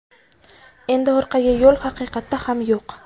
Endi orqaga yo‘l haqiqatda ham yo‘q.